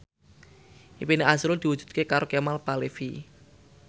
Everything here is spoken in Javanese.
impine azrul diwujudke karo Kemal Palevi